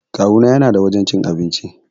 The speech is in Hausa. Kawuna yana da wajan cin abinci